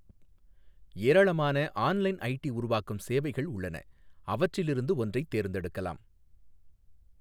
ஏராளமான online ID உருவாக்கும் சேவைகள் உள்ளன, அவற்றிலிருந்து ஒன்றைத் தேர்ந்தெடுக்கலாம்.